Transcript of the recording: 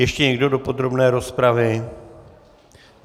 Ještě někdo do podrobné rozpravy?